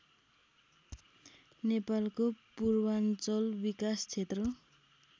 नेपालको पूर्वाञ्चल विकास क्षेत्र